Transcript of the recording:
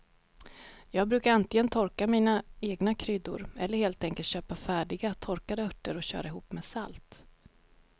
Jag brukar antingen torka mina egna kryddor eller helt enkelt köpa färdiga torkade örter och köra ihop med salt.